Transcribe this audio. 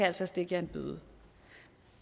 altså stikke jer en bøde